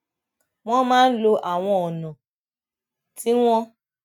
wón máa ń lo àwọn ònà tí wón